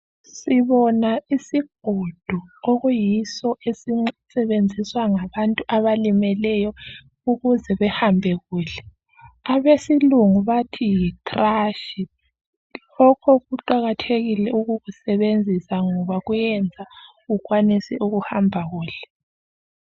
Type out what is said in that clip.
sibona isigodo esiyiso esisetshenziswa ngabantu abalimeleyo ukuze behambe kuhle abesilungu bathi yi crutch lokho Kuqakathekile ukukusebenzisa ngoba kuyayenza ukuthi uhambe kuhle